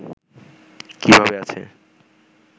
কীভাবে আছে